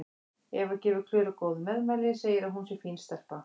Eva gefur Klöru góð meðmæli, segir að hún sé fín stelpa.